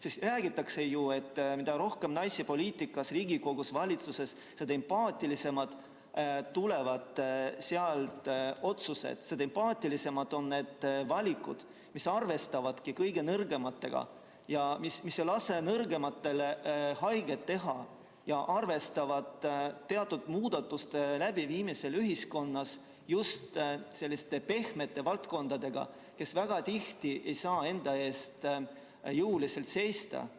Sest räägitakse ju, et mida rohkem naisi poliitikas, Riigikogus, valitsuses, seda empaatilisemad otsused sealt tulevad, seda empaatilisemad on need valikud, mis arvestavadki kõige nõrgematega, mis ei lase nõrgematele haiget teha ja arvestavad teatud muudatuste läbiviimisel ühiskonnas just selliste pehmete valdkondadega, mis väga tihti ei saa enda eest jõuliselt seista.